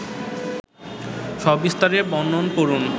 সবিস্তারে বর্ণন করুন